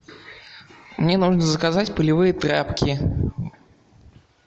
мне нужно заказать пылевые тряпки